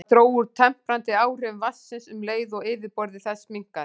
Það dró úr temprandi áhrifum vatnsins um leið og yfirborð þess minnkaði.